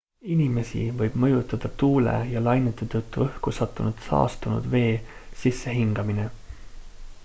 inimesi võib mõjutada tuule ja lainete tõttu õhku sattunud saastunud vee sissehingamine